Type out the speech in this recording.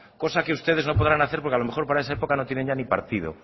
cosa que ustedes no podrán hacer porque a lo mejor para esa época no tienen ya ni partido